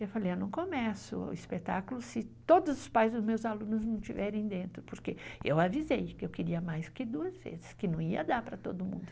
Eu falei, eu não começo o espetáculo se todos os pais dos meus alunos não estiverem dentro, porque eu avisei que eu queria mais que duas vezes, que não ia dar para todo mundo vir.